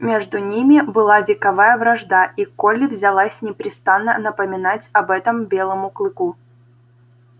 между ними была вековая вражда и колли взялась непрестанно напоминать об этом белому клыку